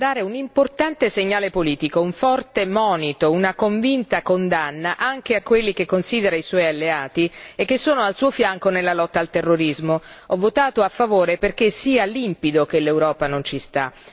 Signor Presidente, onorevoli colleghi, l'Europa deve mandare un importante segnale politico, un forte monito, una convinta condanna anche a quelli che considera i suoi alleati e che sono al suo fianco nella lotta al terrorismo. Ho votato a favore perché sia limpido che l'Europa non ci sta.